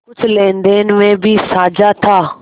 कुछ लेनदेन में भी साझा था